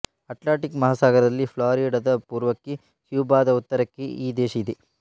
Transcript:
Atlantic ಮಹಾಸಾಗರದಲ್ಲಿ ಫ್ಲಾರಿಡದ ಪೂರ್ವಕ್ಕೆ ಕ್ಯೂಬಾದ ಉತ್ತರಕ್ಕೆ ಈ ದೇಶ ಇದೆ